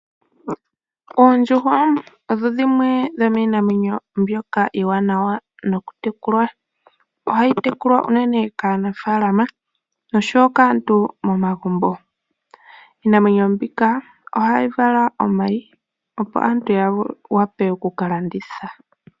Oondjuhwa odho dhimwe dho miinamwenyo mbyoka iiwanawa nokutekulwa. Ohayi tekulwa uunene kaanafaalama noshowo kaantu momagumbo. Iinamwenyo mbika ohayi vala omayi opo aantu ya wape okukalanditha.